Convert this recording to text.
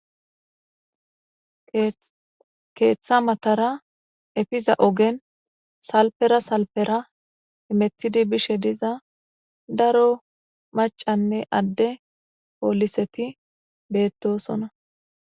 Keeththa matara efiza ogen salpera salpera imettidi bishe diza daro macanne adde pooliseti beettosona.